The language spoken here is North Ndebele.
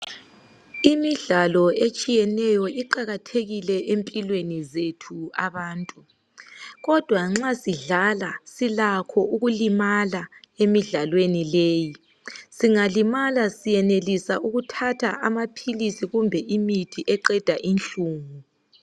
Imidlalo etshiyeneyo iqakathekile empilweni zethu abantu kodwa nxa sidlala silakho ukulimala emidlalweni leyi. Singalimala senelisa ukuthatha amaphilisi kumbe imithi eqeda inhlungu.